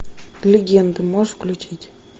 легенда можешь включить